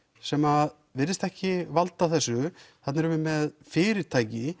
sem virðist ekki valda þessu þarna erum við með fyrirtæki